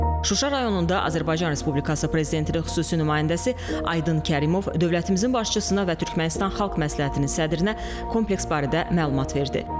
Şuşa rayonunda Azərbaycan Respublikası prezidentinin xüsusi nümayəndəsi Aydın Kərimov dövlətimizin başçısına və Türkmənistan Xalq Məsləhətinin sədrinə kompleks barədə məlumat verdi.